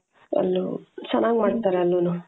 ಅಲ್ಲೂ ಚೆನ್ನಾಗಿ ಮಾಡ್ತಾರೆ ಅಲ್ಲೂನು